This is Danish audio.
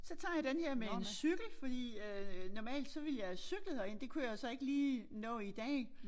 Så tager jeg denne her med en cykel fordi øh normalt så ville jeg havet cyklet herind det kunne jeg så ikke lige nå i dag